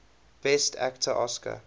best actor oscar